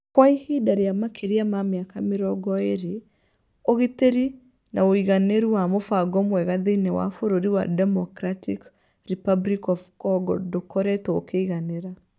Kwa ihinda rĩa makĩria ma mĩaka mĩrongo ĩĩrĩ, ũgitĩri na ũigananĩru wa mũbango mwega thĩinĩ wa Bũrũri wa Democratic Republic of Congo ndũkoretwo ũkĩiganĩra.